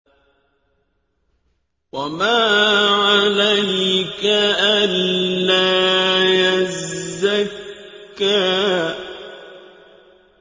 وَمَا عَلَيْكَ أَلَّا يَزَّكَّىٰ